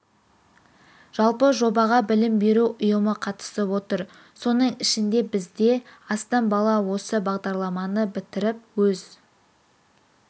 жалпы жобаға білім беру ұйымы қатысып отыр соның ішінде бізде астам бала осы бағдарламаны бітіріп өз